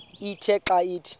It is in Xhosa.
ithe xa ithi